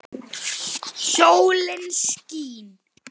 Sólin skín.